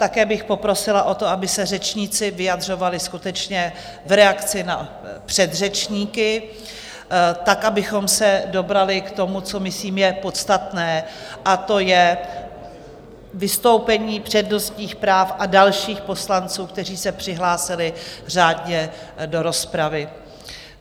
Také bych poprosila o to, aby se řečníci vyjadřovali skutečně v reakci na předřečníky, tak abychom se dobrali k tomu, co myslím je podstatné, a to je vystoupení přednostních práv a dalších poslanců, kteří se přihlásili řádně do rozpravy.